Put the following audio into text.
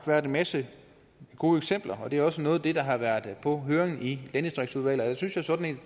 været en masse gode eksempler og det er også noget af det der har været på høringen i landdistriktsudvalget jeg synes jo sådan